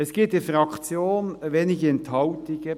Es gibt in der Fraktion wenige Enthaltungen: